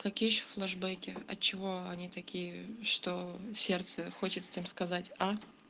какие ещё флешбеки от чего они такие что сердце хочет всем сказать а